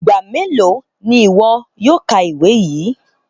Igba melo ni iwọ yóò ka ewi yii?